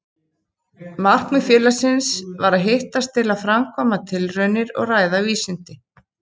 Markmið félagsins var að hittast til að framkvæma tilraunir og ræða vísindi.